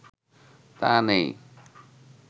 তা নেই